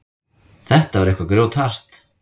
Þetta var eitthvað grjóthart.